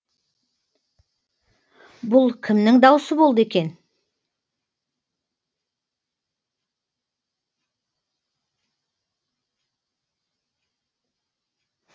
бұл кімнің даусы болды екен